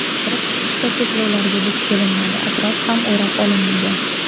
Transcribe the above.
Kirib-chiqishda cheklovlarga duch kelinmadi, atrof ham o‘rab olinmagan.